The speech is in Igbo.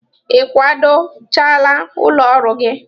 Ị kwado chaala ụlọ ọrụ gị?